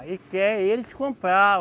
Ele quer eles comprar.